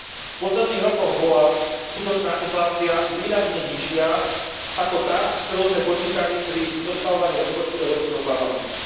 V posledných rokoch bola skutočná inflácia výrazne nižšia ako tá, s ktorou sme počítali pri zostavovaní rozpočtu Európskeho parlamentu.